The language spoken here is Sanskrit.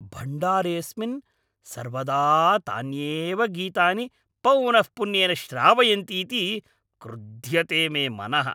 भण्डारेऽस्मिन् सर्वदा तान्येव गीतानि पौनःपुन्येन श्रावयन्तीति क्रुद्ध्यते मे मनः।